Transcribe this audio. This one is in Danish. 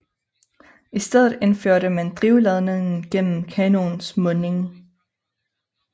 I stedet indførte man drivladningen gennem kanonens munding